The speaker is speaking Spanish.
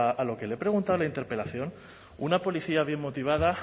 a lo que le he preguntado en la interpelación una policía bien motivada